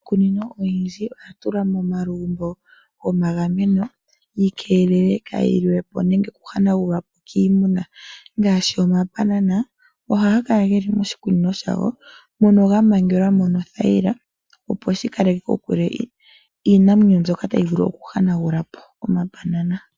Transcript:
Iikunino oyindji oya tulwa momalugumbo gomagameno, yi keelelwe kaayi hanagulwepo kiimuna. Ngaashi omambanana, ohaga Kala geli moshikunino shago, mono ga mangelwa mo nothayila, opo shikaleke kokule iinamwenyo mbyoka tayi vulu okuhanagulapo omambanana.